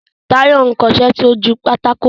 Táyọ̀ ń kọṣẹ́ sójú pátákó